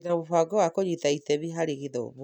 Ndĩna mũbango wa kunyita itemi harĩ gĩthomo